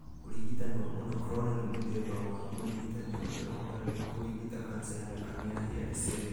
Ũrigitani wa monoclonal nĩ mũthemba wa ũrigitani ũrĩa ũhũthagĩrwo kũrigita kanca ya thakame ya hairy cell.